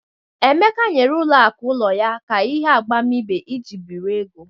Emeka nyere ụlọ aku ụlọ ya ka ihe agbamibe iji biri ego.